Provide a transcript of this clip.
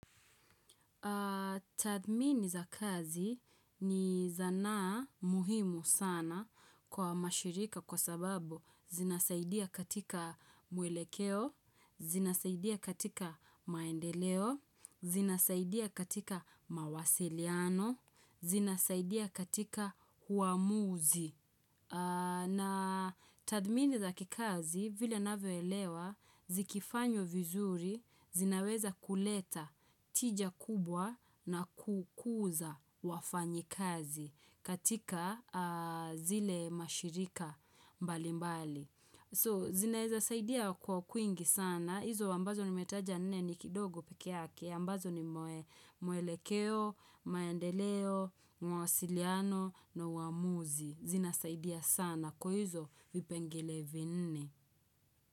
Tadmini za kazi ni zanaa muhimu sana kwa mashirika kwa sababu zinasaidia katika mwelekeo, zinasaidia katika maendeleo, zinasaidia katika mawasiliano, zinasaidia katika huamuzi. Na tadmini za kikazi vile navyoelewa zikifanywa vizuri zinaweza kuleta tija kubwa na kukuza wafanyi kazi katika zile mashirika mbali mbali. So, zinaezasaidia kwa kwingi sana, hizo ambazo ni metaja nne ni kidogo pekeyake, ambazo ni mue muelekeo, maendeleo, mawasiliano, na uamuzi. Zina saidia sana, kwa hizo vipengelevi nne.